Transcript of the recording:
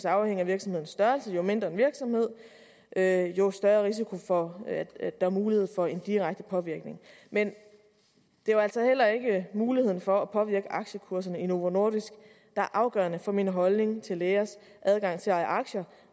afhænge af virksomhedens størrelse jo mindre virksomheden er jo større er risikoen for at der er mulighed for en direkte påvirkning men det er jo altså heller ikke muligheden for at påvirke aktiekurserne i novo nordisk der er afgørende for min holdning til lægers adgang til at eje aktier